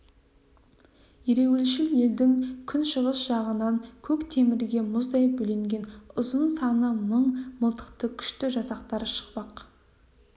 ереуілшіл елдің күншығыс жағынан көк темірге мұздай бөленген ұзын саны мың мылтықты күшті жасақтар шықпақ